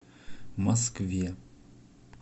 москве